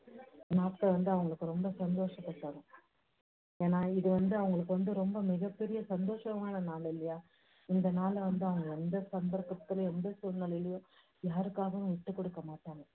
நாட்கள் வந்து அவங்களுக்கு ரொம்ப சந்தோஷத்தை தரும். ஏன்னா இது வந்து அவங்களுக்கு வந்து ரொம்ப மிகப்பெரிய சந்தோஷமான நாள் இல்லையா? இந்த நாளை வந்து அவங்க எந்த சந்தர்ப்பத்துலேயும் எந்த சூழ்நிலையிலையும் யாருக்காகவும் விட்டுக் குடுக்க மாட்டாங்க.